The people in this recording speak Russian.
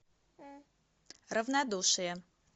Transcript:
равнодушие